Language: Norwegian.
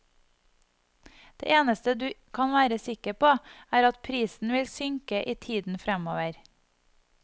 Det eneste du kan være sikker på, er at prisen vil synke i tiden fremover.